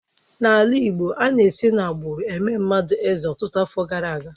N'ala Igbo, ana-esi n'agbụrụ eme mmadụ eze ọtụtụ afọ gara aga.